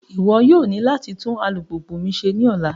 Iwọ yoo ni lati tun alupupu mi ṣe ni ọla!